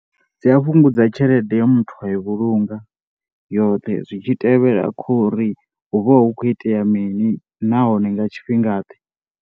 Dzi a fhungudza tshelede ye muthu a i vhulunga yoṱhe zwi tshi tevhela khou ri hu vha hu khou itea mini nahone nga tshifhingaḓe.